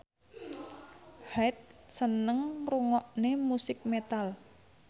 Hyde seneng ngrungokne musik metal